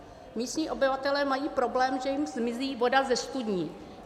Místní obyvatelé mají problém, že jim zmizí voda ze studní.